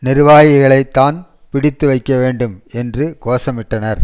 நிர்வாகிகளைத்தான் பிடித்து வைக்க வேண்டும் என்று கோஷமிட்டனர்